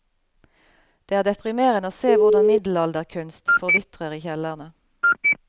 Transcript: Det er deprimerende å se hvordan middelalderkunst forvitrer i kjellerne.